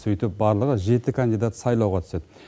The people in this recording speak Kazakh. сөйтіп барлығы жеті кандидат сайлауға түседі